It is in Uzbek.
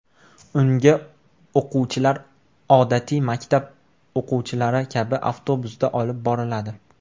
Unga o‘quvchilar odatiy maktab o‘quvchilari kabi avtobusda olib boriladi .